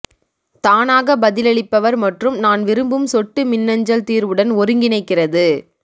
தானாக பதிலளிப்பவர் மற்றும் நான் விரும்பும் சொட்டு மின்னஞ்சல் தீர்வுடன் ஒருங்கிணைக்கிறது